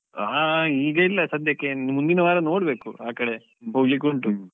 ಹಾ, ಈಗ ಇಲ್ಲ ಸದ್ಯಕ್ಕೆ ಇನ್ನು ಮುಂದಿನ ವಾರ ನೋಡ್ಬೇಕು, ಆಕಡೆ ಹೋಗ್ಲಿಕ್ಕೆ ಉಂಟು.